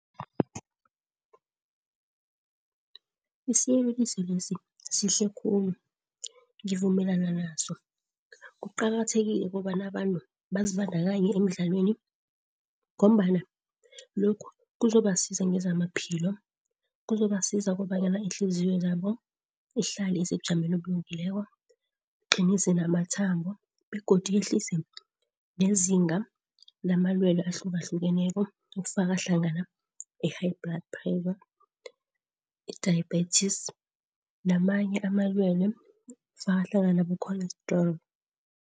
Isiyeleliso lesi sihle khulu. Ngivumelana naso. Kuqakathekile ukobana abantu bazibandakanye emidlalweni ngombana lokhu kuzobasiza ngezamaphilo, kuzobasiza kobanyana ihliziyo zabo ihlale isebujameni obulungileko, iqinise namathambo. Begodu yehlise nezinga lamalwelwe ahlukahlukeneko ekufaka hlangana i-high blood pressure, i-diabetes namanye amalwelwe kufaka hlangana obo-cholesterol.